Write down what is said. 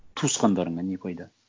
туысқандарыңа не пайда